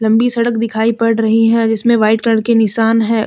लंबी सड़क दिखाई पड़ रही है जिसमें व्हाइट कलर के निशान है।